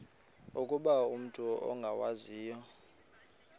ukuba umut ongawazivo